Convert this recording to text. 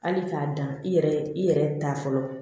Hali k'a dan i yɛrɛ i yɛrɛ ta fɔlɔ